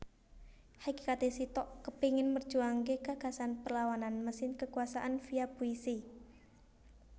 Hakikate Sitok kepengin merjuangake gagasan perlawanan mesin kekuasaan via puisi